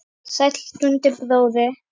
Sæll Dundi bróðir!